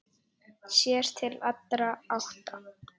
Sér til allra átta.